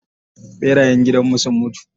ɓerayen gidanmu sun mutu.